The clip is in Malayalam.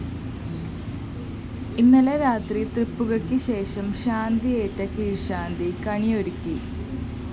ഇന്നലെ രാത്രി തൃപ്പുകക്ക് ശേഷം ശാന്തിയേറ്റ കീഴ്ശാന്തി കണിയൊരുക്കി